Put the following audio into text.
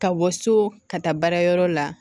Ka bɔ so ka taa baara yɔrɔ la